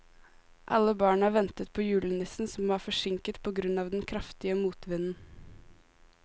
Alle barna ventet på julenissen, som var forsinket på grunn av den kraftige motvinden.